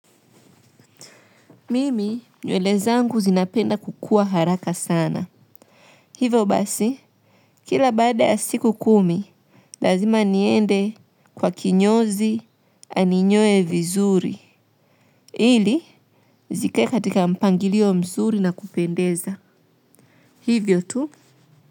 Mimi, nywele zangu zinapenda kukua haraka sana. Hivyo basi, kila baada ya siku kumi, lazima niende kwa kinyozi aninyoe vizuri. Ili zikae katika mpangilio mzuri na kupendeza. Hivyo tu.